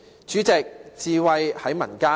主席，智慧在民間。